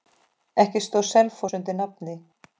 Ekki stóð Selfoss undir nafni.